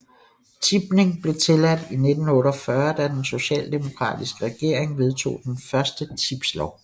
Tipning blev tilladt i 1948 da den socialdemokratiske regering vedtog den første tipslov